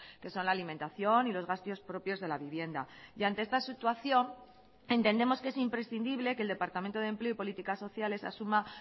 que son la alimentación y los gastos propios de la vivienda y ante esta situación entendemos que es imprescindible que el departamento de empleo y políticas sociales asuma